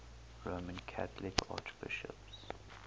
roman catholic archbishops